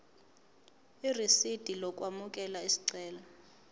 irisidi lokwamukela isicelo